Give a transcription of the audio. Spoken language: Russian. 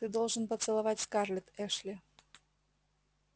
ты должен поцеловать скарлетт эшли